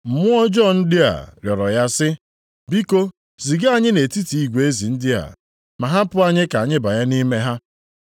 Mmụọ ọjọọ ndị a rịọrọ ya sị, “Biko ziga anyị nʼetiti igwe ezi ndị a, ma hapụ anyị ka anyị banye nʼime ha.”